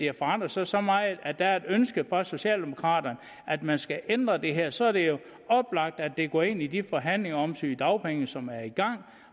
har forandret sig så meget at det er et ønske fra socialdemokraterne at man skal ændre det her så er det oplagt at det går ind i de forhandlinger om sygedagpenge som er i gang